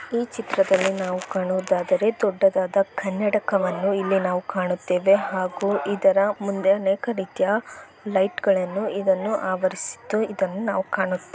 ಈ ಚಿತ್ರದಲ್ಲಿ ನಾವು ಕಾಣುವುದಾದರೆ ಒಂದು ದೊಡ್ಡ ಕನ್ನಡಕವನ್ನು ನಾವು ಇಲ್ಲಿ ಕಾಣುತ್ತೇವೆ ಹಾಗೂ ಇದರ ಸುತ್ತ ಅನೇಕ ರೀತಿಯ ಲೈಟುಗಳನ್ನು ನಿಲ್ಲಿಸಿದ್ದು ನಾವು ಇದನ್ನು ಕಾಣುತ್ತೇವೆ